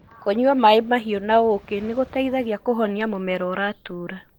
Kũnyua maĩ mahiũ na ũkĩ nĩgũteithagia kũhonia mũmero ũratura.